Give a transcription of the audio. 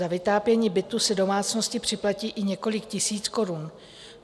Za vytápění bytu si domácnosti připlatí i několik tisíc korun.